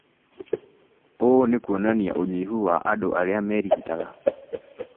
Ũũ nĩ kuonania ũnyihu wa andũ arĩa merigitaga